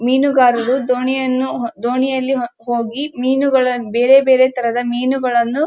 ಮೀನುಗಾರರು ದೋಣಿಯಲ್ಲಿ''ಹೋಗಿ ಬೇರೆ ಬೇರೆ ತರದ ಮೀನುಗಳನ್ನು --